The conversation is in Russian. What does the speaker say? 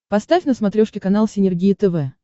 поставь на смотрешке канал синергия тв